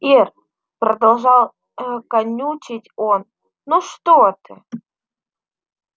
ир продолжал канючить он ну что ты